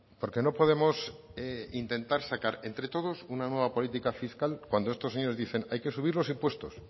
porque no podemos intentar sacar entre todos una nueva política fiscal cuando estos señores dicen hay que subir los impuestos